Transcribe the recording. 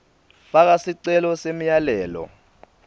faka sicelo semyalelo